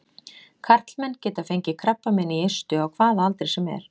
Karlmenn geta fengið krabbamein í eistu á hvaða aldri sem er.